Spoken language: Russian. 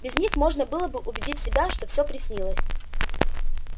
без них можно было бы убедить себя что всё приснилось